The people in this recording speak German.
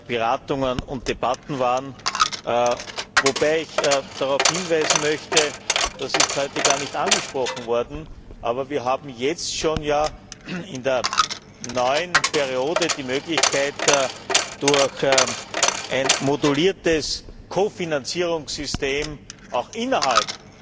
Beratungen und Debatten waren, wobei ich darauf hinweisen möchte das ist heute gar nicht angesprochen worden dass wir jetzt schon, in der neuen Periode, die Möglichkeit haben, durch ein moduliertes Ko Finanzierungssystem auch innerhalb